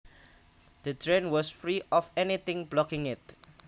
The drain was free of anything blocking it